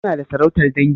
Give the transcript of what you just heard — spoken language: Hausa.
Suna da sarautar dangi?